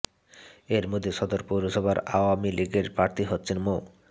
এর মধ্যে সদর পৌরসভায় আওয়ামী লীগের প্রার্থী হচ্ছেন মো